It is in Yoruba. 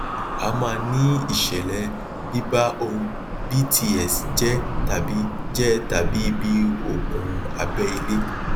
a maa ní ìṣẹlẹ biba ohun bts jẹ tàbí jẹ tàbí ibi okun abẹ ilẹ